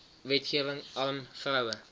wetgewing arm vroue